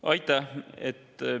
Aitäh!